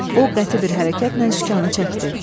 O qəti bir hərəkətlə sükanı çəkdi.